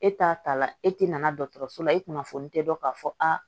E t'a ta la e tɛ na dɔgɔtɔrɔso la e kunnafoni tɛ dɔn k'a fɔ aa